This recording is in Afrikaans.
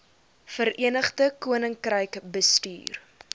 verenigde koninkryk bestuur